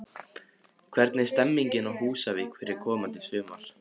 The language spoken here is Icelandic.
Hvernig er stemmingin á Húsavík fyrir komandi sumar?